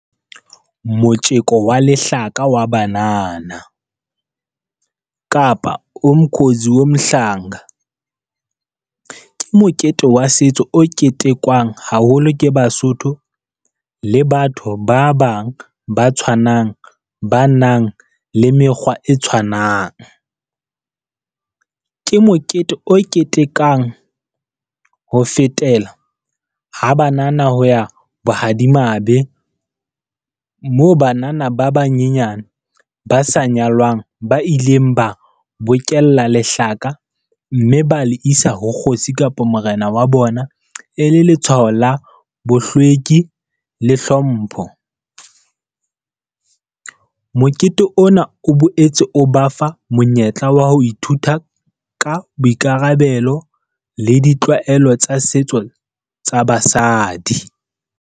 Motjeko wa lehlaka wa banana, kapa umkhonzi o mhlanga. Ke mokete wa setso o ketekwang haholo ke Basotho le batho ba bang ba tshwanang, ba nang le mekgwa e tshwanang. Ke mokete o ketekang ho fetela, ha banana ho ya bohadimabe moo banana ba banyenyane ba sa nyalwang ba ileng ba bokella lehlaka mme ba le isa ho Kgosi kapa Morena wa bona. E le letshwao la bohlweki le hlompho. Mokete ona o boetse o ba fa monyetla wa ho ithuta ka boikarabelo le ditlwaelo tsa setso tsa basadi.